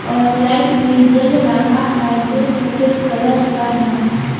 और लाइट भी जल रहा है जो सफेद कलर का है।